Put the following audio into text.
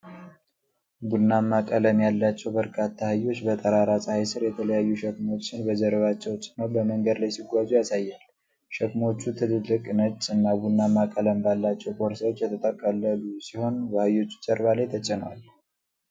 ቡናማ ቀለም ያላቸው በርካታ አህዮች በጠራራ ፀሐይ ሥር የተለያዩ ሸክሞችን በጀርባቸው ጭነው በመንገድ ላይ ሲጓዙ ያሳያል። ሸክሞቹ ትልልቅ፣ ነጭ እና ቡናማ ቀለም ባላቸው ቦርሳዎች የተጠቀለሉ ሲሆን፤ በአህዮቹ ጀርባ ላይ ተጭነዋል።